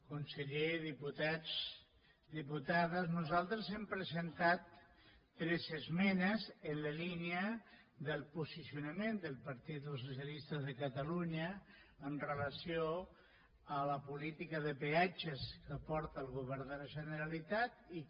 conseller diputats diputades nosaltres hem presentat tres esmenes en la línia del posicionament del partit dels socialistes de catalunya amb relació a la política de peatges que porta el govern de la generalitat i que